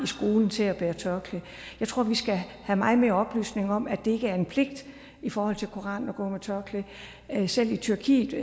til at bære tørklæde jeg tror vi skal have meget mere oplysning om at det ikke er en pligt i forhold til koranen at gå med tørklæde selv i tyrkiet